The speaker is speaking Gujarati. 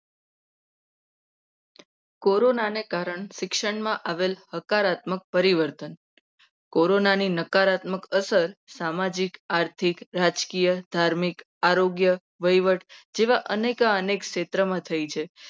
કોરોનાના કારણે શિક્ષણમાં આવેલ હકારાત્મક પરિણામ પરિવર્તન કોરોનાની નકારાત્મક અસર સામાજિક આર્થિક રાજકીય ધાર્મિક આરોગ્ય વહીવટ જેવા અનેક ક્ષેત્રમાં થઈ છે.